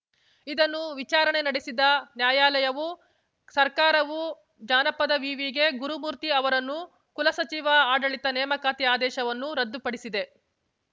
ಇದನ್ನು ವಿಚಾರಣೆ ನಡೆಸಿದ ನ್ಯಾಯಾಲಯವು ಸರ್ಕಾರವು ಜಾನಪದ ವಿವಿಗೆ ಗುರುಮೂರ್ತಿ ಅವರನ್ನು ಕುಲಸಚಿವ ಆಡಳಿತ ನೇಮಕಾತಿ ಆದೇಶವನ್ನು ರದ್ದುಪಡಿಸಿದೆ